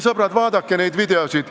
Sõbrad, vaadake neid videoid.